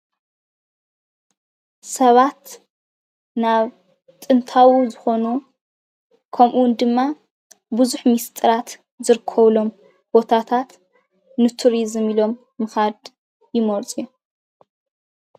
ሰባት ናብ ጥንታዊ ዝኾኑ ከምኡ'ውን ድማ ብዙሕ ምስጥራት ዝርከቡሎም ቦታታት ንቱሪዙም ኢሎም ምኻድ ይመርፁ እዮም።